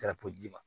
Kɛra polisi